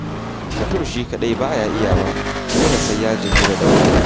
Mutum shi kaɗai ba ya iyawa, dole sai ya jingina da wani.